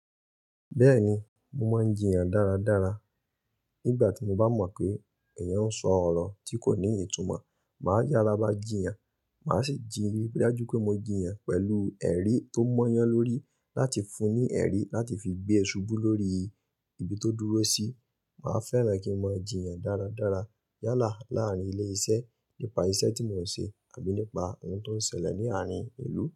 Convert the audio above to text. Bẹ́ẹ̀ni, mo máa ń jìyàn dáradára. Nígbà tí mo bá mọ̀ pé èèyàn ń sọ ọ̀rọ̀ tí kò ní ìtumọ̀, màá yára bá jìyàn. Màá sì jìrí pé dájú pé mo jìyàn pẹ̀lú ẹ̀rí tó mọ́ yàn lórí láti fún un ní ẹ̀rí láti fi gbé ṣubú lórí ibi tó dúró sí. Màá fẹ́ràn kí n mọ̀ jíyàn dáradára yálà láàárín ilé-iṣẹ́ nípa iṣẹ́ tí mò ń ṣe àbí nípa ohun tó ń ṣẹlẹ̀ ní àárín ìlú.